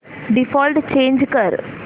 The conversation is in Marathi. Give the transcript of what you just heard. डिफॉल्ट चेंज कर